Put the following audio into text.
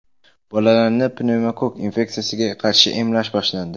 Bolalarni pnevmokokk infeksiyasiga qarshi emlash boshlandi.